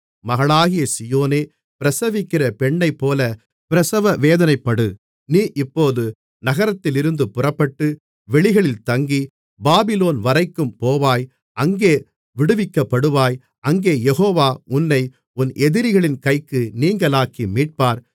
மகளாகிய சீயோனே பிரசவிக்கிற பெண்ணைப்போல பிரசவ வேதனைப்படு நீ இப்போது நகரத்திலிருந்து புறப்பட்டு வெளிகளில் தங்கி பாபிலோன் வரைக்கும் போவாய் அங்கே விடுவிக்கப்படுவாய் அங்கே யெகோவா உன்னை உன் எதிரிகளின் கைக்கு நீங்கலாக்கி மீட்பார்